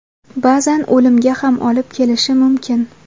Ba’zan o‘limga ham olib kelishi mumkin.